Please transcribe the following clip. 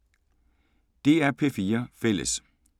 DR P4 Fælles